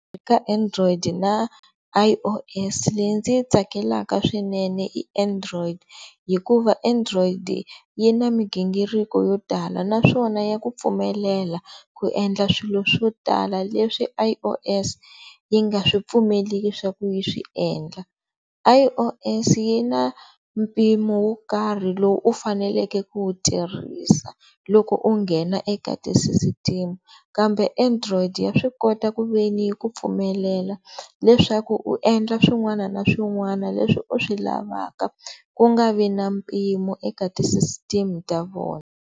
Ka android na I_O_S leyi ndzi yi tsakelaka swinene android hikuva android yi na mighingiriko yo tala naswona ya ku pfumelela ku endla swilo swo tala leswi I_O_S yi nga swi pfumeleli swa ku yi swi endla. I_O_S yi na mpimo wo karhi lowu u faneleke ku wu tirhisa loko u nghena eka ti-system-u kambe android ya swi kota ku ve ni yi ku pfumelela leswaku u endla swin'wana na swin'wana leswi u swi lavaka ku nga vi na mpimo eka ti-system-u ta vona.